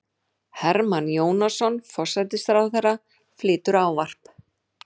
Hermann Jónasson, forsætisráðherra, flytur ávarp.